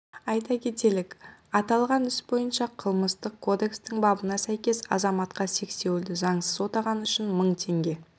айта кетейік аталған іс бойынша қылмыстық кодекстің бабына сәйкес азаматқа сексеуілді заңсыз отағаны үшін мың теңге